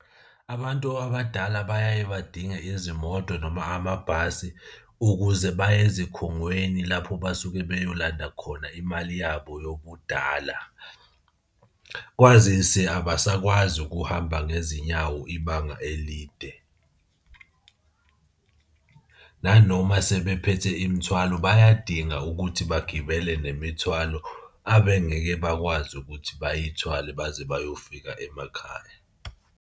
Abantu abadala bayaye badinge izimoto noma amabhasi ukuze baye ezikhungweni lapho basuke beyolanda khona imali yabo yobudala. Kwazise abasakwazi ukuhamba ngezinyawo ibanga elide. Nanoma sebephethe imithwalo bayadinga ukuthi bagibele nemithwalo abengeke bakwazi ukuthi bayithwale baze bayofika emakhaya.